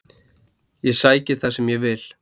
Ég sæki það sem ég vil.